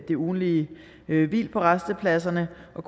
det ugentlige hvil på rastepladserne og